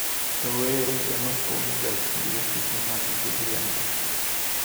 Rowere emapong`oga chiro seche ma godhiambo.